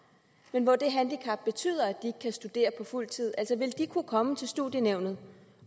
men hvor det handicap betyder at de ikke kan studere på fuld tid vil de kunne komme til studienævnet